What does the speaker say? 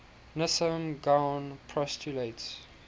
nissim gaon postulates